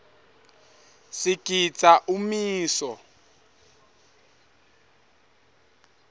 sigidza umiso